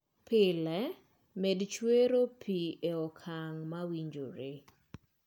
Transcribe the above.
Pile, med chwero pi e okang' mowinjore